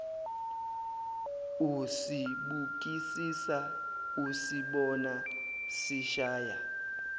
usibukisisa usibona sishaya